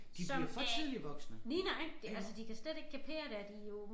Som er lige nøjagtig altså de kan slet ikke kapere det og de jo